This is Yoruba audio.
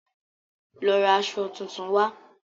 Lọ ra aṣọ tuntun wá.